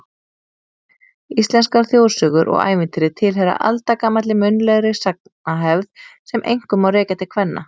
Íslenskar þjóðsögur og ævintýri tilheyra aldagamalli munnlegri sagnahefð sem einkum má rekja til kvenna.